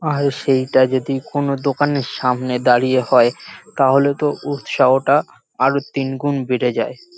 আর সেটা যদি কোন দোকানের সামনে দাঁড়িয়ে হয় তাহলে তো উৎসাহটা আরও তিনগুণ বেড়ে যায়।